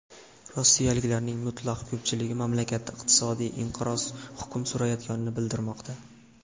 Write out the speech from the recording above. Rossiyaliklarning mutlaq ko‘pchiligi mamlakatda iqtisodiy inqiroz hukm surayotganini bildirmoqda.